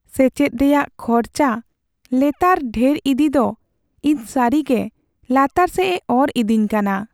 ᱥᱮᱪᱮᱫ ᱨᱮᱭᱟᱜ ᱠᱷᱚᱨᱪᱟ ᱞᱮᱛᱟᱲ ᱰᱷᱮᱨ ᱤᱫᱤ ᱫᱚ ᱤᱧ ᱥᱟᱹᱨᱤᱜᱮ ᱞᱟᱛᱟᱨ ᱥᱮᱡᱽᱼᱮ ᱚᱨ ᱤᱫᱤᱧ ᱠᱟᱱᱟ ᱾